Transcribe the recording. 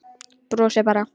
Brosir bara.